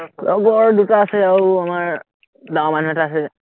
লগৰ দুটা আছে আৰু আমাৰ ডাঙৰ মানুহ এটা আছে যে